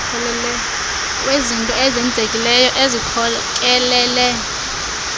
wezinto ezenzekileyo ezikhokelele